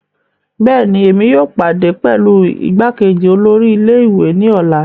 Bẹẹni, Èmi yóò pàdé pẹlu igbákejì olórí ilé-ìwé náà ni ọla